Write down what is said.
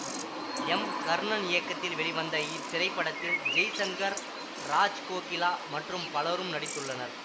M Karnan இயக்கத்தில் வெளிவந்த இத்திரைப்படத்தில் ஜெய்சங்கர் ராஜ்கோகிலா மற்றும் பலரும் நடித்துள்ளனர்